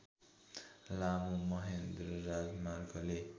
लामो महेन्द्र राजमार्गले